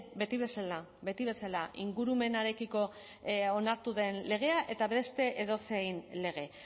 beti bezala beti bezala ingurumenarekiko onartu den legea eta beste edozein lege